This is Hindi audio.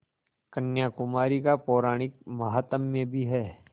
कन्याकुमारी का पौराणिक माहात्म्य भी है